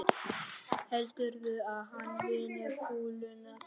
Heldurðu að hann vinni kúluna pabbi?